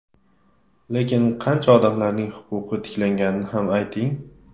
Lekin qancha odamlarning huquqi tiklanganini ham ayting.